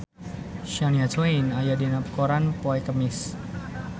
Shania Twain aya dina koran poe Kemis